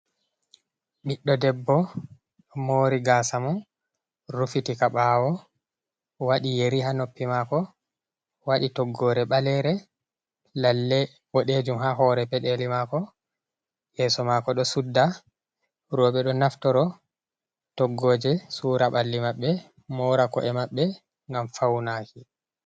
Ɓiɗɗo debbo mori gasa maako rufitika ha ɓawo, waɗi yeri ha noppi mako, waɗi toggore ɓalere, lalle woɗejum ha hore peɗeli mako, yeso mako ɗo sudda. Roɓe ɗo naftoro toggoje sura ɓalli mabɓe, mora ko'e maɓɓe, ngam faunaaki.